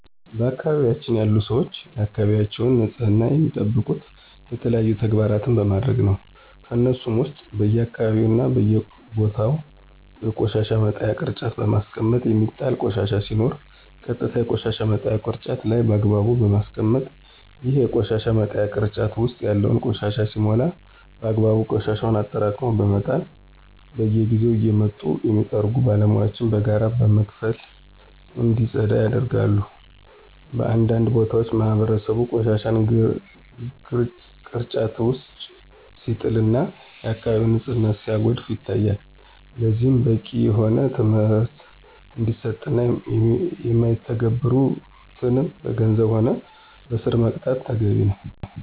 በአካባቢያችን ያሉ ሰወች የአካባቢያቸውን ንፅህና የሚጠብቁት የተለያዩ ተግባራን በማድረግ ነው። ከነሱሞ ውስጥ በየአካባቢው እና በየቦታው የቆሻሻ መጣያ ቅርጫት በማስቀመጥ የሚጣል ቆሻሻ ሲኖር ቀጥታ የቆሻሻ መጣያው ቅርጫት ላይ በአግባቡ በማስቀመጥ፣ ይሄ የቆሻሻ መጣያ ቅርጫት ውስጥ ያለው ቆሻሻ ሲሞላ በአግባቡ ቆሻሻውን አጠራቅሞ በመጣል፣ በየጊዜው እየመጡ የሚጠርጉ ባለሙያወችን በጋራ በመክፈል እንዲፀዳ ያደርጋሉ። በአንዳንድ ቦታዎች ማህበረሰቡ ቆሻሻን ግርጫት ውጭ ሲጥል እና የአከባቢውን ንፅህና ሲያጎድፍ ይታያል። ለዚህም በቂ የሆነ ትምህርት እንዲሰጥ እና ማይተገብሩትን በገንዘብም ሆነ በእስር መቅጣት ተገቢ ነው።